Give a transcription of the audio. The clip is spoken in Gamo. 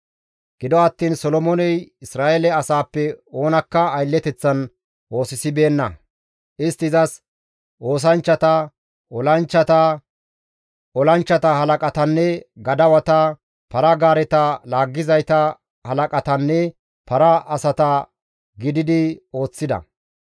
Gido attiin Solomooney Isra7eele asaappe oonakka aylleteththan oosisibeenna; istti izas oosanchchata, olanchchata, olanchchata halaqatanne gadawata, para-gaareta laaggizayta halaqatanne para asata gididi ooththida.